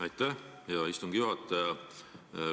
Aitäh, hea istungi juhataja!